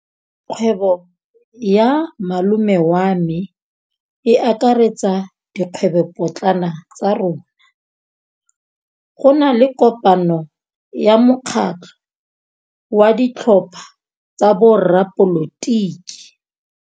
Kgwêbô ya malome wa me e akaretsa dikgwêbôpotlana tsa rona. Go na le kopanô ya mokgatlhô wa ditlhopha tsa boradipolotiki.